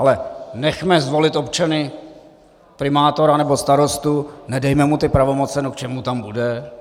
Ale nechme zvolit občany primátora nebo starostu, nedejme mu ty pravomoci - no k čemu tam bude?